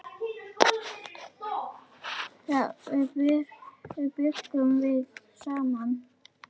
Þá bjuggum við saman.